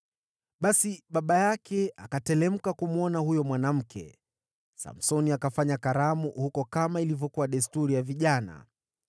Basi baba yake akateremka kumwona huyo mwanamke. Samsoni akafanya karamu huko, kama ilivyokuwa desturi ya vijana.